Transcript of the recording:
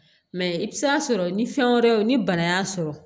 i bɛ taa sɔrɔ ni fɛn wɛrɛw ni bana y'a sɔrɔ